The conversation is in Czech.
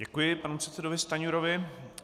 Děkuji panu předsedovi Stanjurovi.